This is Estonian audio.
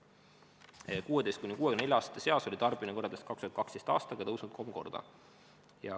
16–64-aastaste seas oli tarbimine võrreldes 2012. aastaga suurenenud kolm korda.